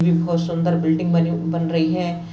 एक बहुत सुंदर बिल्डिंग बनी बन रही है।